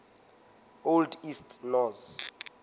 old east norse